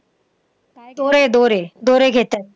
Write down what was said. दोरे दोरे दोरे घेतात.